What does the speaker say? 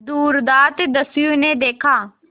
दुर्दांत दस्यु ने देखा